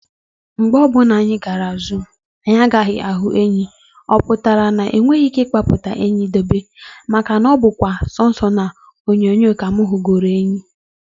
Mgbe ọbụla anyị jere zoo, anyị agaghị ahụ enyi, ọpụtara na ha enweghị ike ikpụta enyi debe, maka na ọ kwa sọ na onyonyo ka mụ hụgoro enyi